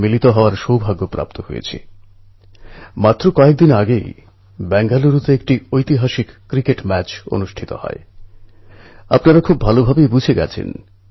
কোথাও কোথাও অতিরিক্ত বর্ষা চিন্তার কারণ হয়ে উঠেছে অন্যদিকে কিছু জায়গায় মানুষ এখনও বর্ষার প্রতীক্ষা করছেন